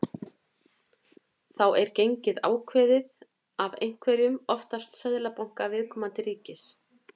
Þá er gengið ákveðið af einhverjum, oftast seðlabanka viðkomandi ríkis.